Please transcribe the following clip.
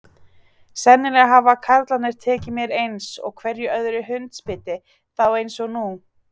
Sennilega hafa karlarnir tekið mér eins og hverju öðru hundsbiti, þá eins og nú.